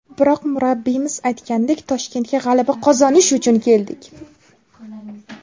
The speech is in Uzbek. Biroq, murabbiyimiz aytganidek, Toshkentga g‘alaba qozonish uchun keldik.